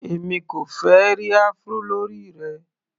Èmi kò fẹ́ ẹ́ rí Afro lórí rẹ.